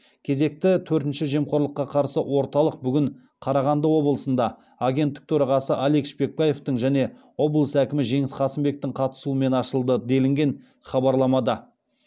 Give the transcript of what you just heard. кезекті төртінші жемқорлыққа қарсы орталық бүгін қарағанды облысында агенттік төрағасы алик шпекбаевтың және облыс әкімі жеңіс қасымбектің қатысуымен ашылды делінген хабарламада